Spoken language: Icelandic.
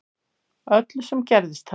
Öllu sem gerðist þarna